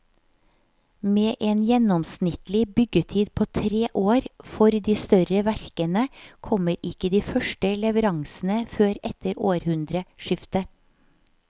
Med en gjennomsnittlig byggetid på tre år for de større verkene kommer ikke de første leveransene før etter århundreskiftet.